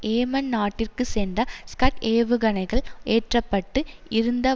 Yemen நாட்டிற்குச் சென்ற Scud ஏவுகணைகள் ஏற்ற பட்டு இருந்த